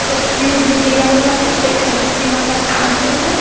एक भी दिया हुआ है एक सरस्वती माता का फोटो है।